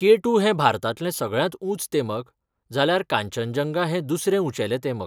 K two हें भारतांतलें सगळ्यांत ऊंच तेमक, जाल्यार कांचनजंगा हें दुसरें उंचेलें तेमक.